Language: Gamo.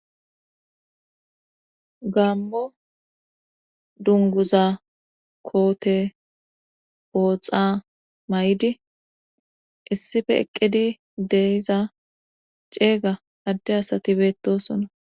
Gaammo dungguza koote pooxa mayidi issife eqqidi de7iza ceega adde asati beettoosona.